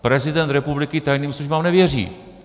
Prezident republiky tajným službám nevěří.